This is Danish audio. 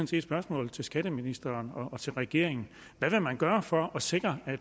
set spørgsmålet til skatteministeren og regeringen hvad vil man gøre for at sikre at